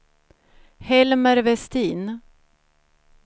Helmer Vestin